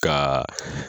Ka